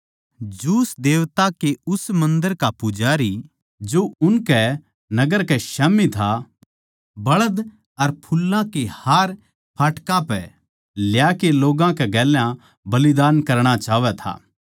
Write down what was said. ज्यूस देवता के उस मन्दर का पुजारी जो उनकै नगर कै स्याम्ही था बळध अर फुल्लां के हार फाटकां पै ल्याकै लोग्गां कै गेल्या बलिदान करणा चाहवै था